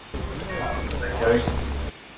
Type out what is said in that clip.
Við förum að nálgast Reykjavík.